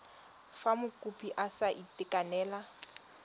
fa mokopi a sa itekanela